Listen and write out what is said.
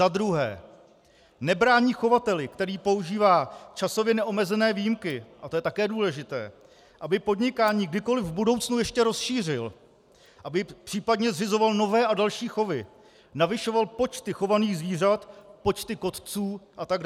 Za druhé nebrání chovateli, který používá časově neomezené výjimky, a to je také důležité, aby podnikání kdykoliv v budoucnu ještě rozšířil, aby případně zřizoval nové a další chovy, navyšoval počty chovaných zvířat, počty kotců atd.